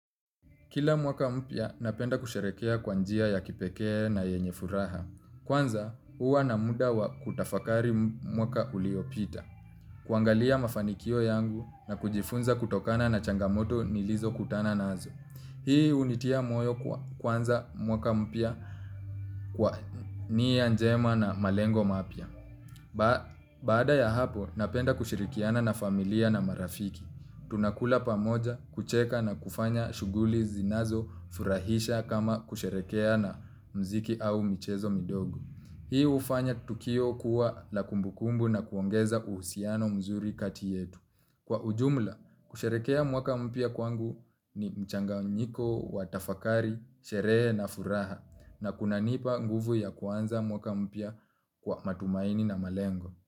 Kila mwaka mpya napenda kusherehekea kwa njia ya kipekee na yenye furaha. Kwanza, huwa na muda wa kutafakari mwaka uliopita. Kuangalia mafanikio yangu na kujifunza kutokana na changamoto nilizo kutana naazo. Hii hunitia moyo kuanza mwaka mpya kwa nia njema na malengo mapya. Baada ya hapo, napenda kushirikiana na familia na marafiki. Tunakula pamoja, kucheka na kufanya shughuli zinazofurahisha kama kusherehekea na muziki au michezo midogo. Hii hufanya tukio kuwa la kumbukumbu na kuongeza uhusiano mzuri kati yetu. Kwa ujumla, kusherehekea mwaka mpya kwangu ni mchanganyiko, wa tafakari, sherehe na furaha. Na kunanipa nguvu ya kuanza mwaka mpya kwa matumaini na malengo.